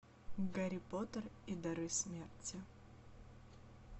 гарри поттер и дары смерти